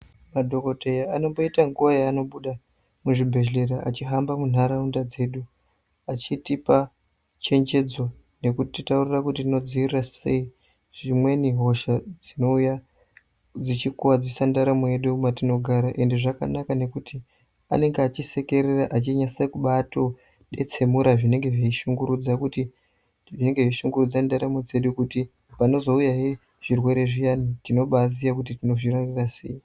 Madhokodheya anomboita nguwa yanobuda muzvibhedhleya achihamba muntaraunda dzedu achitipa chenjedzo nekutitaurira kuti tinodzivirira sei dzimweni hosha dzinouya dzichikuwadzisa ndaramo yedu mwatinogara ende zvakanaka nekuti anenge achisekerera achinyatsokubadetsemura zvinenge zveishungurudza ndaramo dzedu kuti panozouyahe zvirwere zviya tinobaziya kuti tinozvirarira sei.